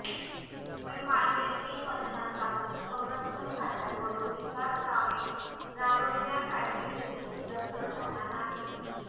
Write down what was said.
पण मागील तीन वर्षांपासून संरक्षण खात्याकडून विकासकामे राबविण्यासाठी निधी उपलब्ध झाला नाही